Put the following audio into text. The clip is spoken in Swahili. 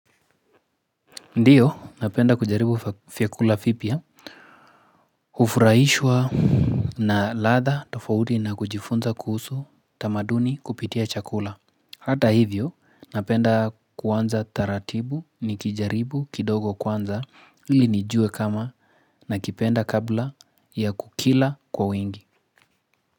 Ndiyo, napenda kujaribu vyakula vipya. Hufurahishwa na ladha tofauti na kujifunza kuhusu tamaduni kupitia chakula. Hata hivyo, napenda kuanza taratibu nikijaribu kidogo kwanza ili nijue kama nakipenda kabla ya kukila kwa wengi.